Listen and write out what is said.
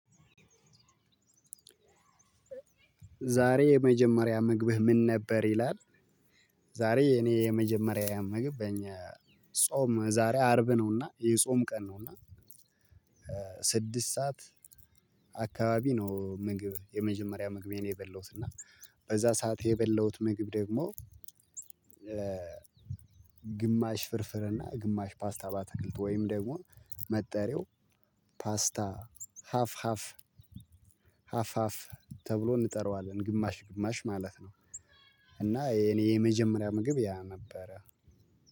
ዛሬ የመጀመሪያ ምግብህ ምን ነበር ይላል? ዛሬ የኔ የመጀመሪያ ምግብ ጾም ዛሬ አርብ ነውና የጾም ቀን ነውና። ስድስት ሰዓት አካባቢ ነው ምግብ የመጀመሪያ ምግቤን የበለውት እና በዛ ሰዓት የበለውት ምግብ ደግሞ። ግማሽ ፍርፍር እና ግማሽ ፓስታ ባትክልት ወይም ደግሞ መጠሪያው ፓስታ ሀፍ ሀፍ ሀፋፍ ተብሎ እንጠራዋለን ግማሽ ግማሽ ማለት ነው። እና የኔ የመጀመሪያ ምግብ ያ ነበረ።